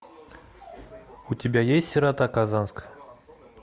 у тебя есть сирота казанская